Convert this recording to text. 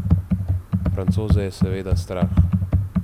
Francoze je seveda strah.